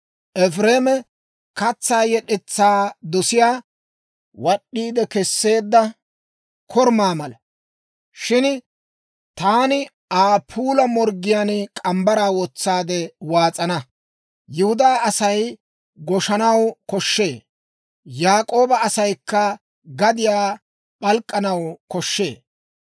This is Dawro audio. «Efireeme katsaa yed'etsaa dosiyaa, wad'd'iide kesseedda korumaa mala; shin taani Aa puula morggiyaan morgge mitsaa wotsaade waas'ana. Yihudaa Asay goshshanaw koshshee; Yaak'ooba asaykka gadiyaa p'alk'k'anaw koshshee.